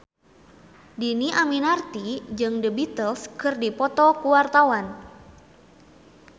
Dhini Aminarti jeung The Beatles keur dipoto ku wartawan